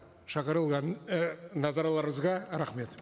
шақырылған ы назарларыңызға рахмет